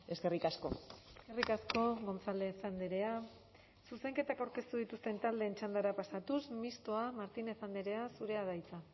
eskerrik asko eskerrik asko gonzález andrea zuzenketak aurkeztu dituzten taldeen txandara pasatuz mistoa martínez andrea zurea da hitza